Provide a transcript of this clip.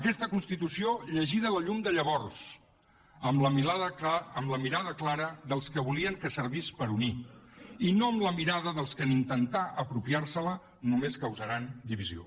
aquesta constitució llegida a la llum de llavors amb la mirada clara dels que volien que servís per unir i no amb la mirada dels que en intentar apropiar se la només causaran divisió